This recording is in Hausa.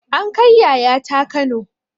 An kai yayata kano